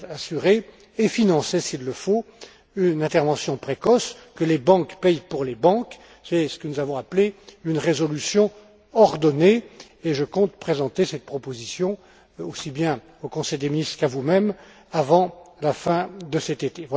Donc, assurer et financer s'il le faut une intervention précoce, que les banques paient pour les banques, c'est ce que nous avons appelé une résolution ordonnée, et je compte présenter cette proposition aussi bien au Conseil des ministres qu'à vous mêmes avant la fin de cet été.